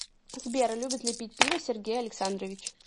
сбер любит ли пить пиво сергей александрович